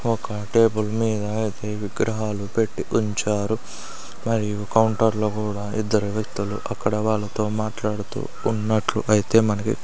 ఒక టేబుల్ మీద అన్ని విగ్రహాలు పెట్టి ఉంచారు మరియు కౌంటర్లో కూడా ఇద్దరు వ్యక్తులు అక్కడ వాళ్ళతో మాట్లాడుతూ ఉన్నట్లు అయితే మనకి--